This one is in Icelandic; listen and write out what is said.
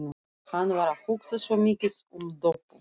Hann var að hugsa svo mikið um Doppu.